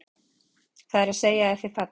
Það er að segja að þið fallið?